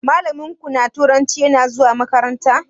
Malamin ku na turanci yana zuwa makaranta?